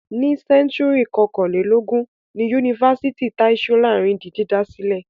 Ní sẹ́ńtúrì kọkànlélógún ni Yunifásítì Tai Solarin di dídá sílẹ̀.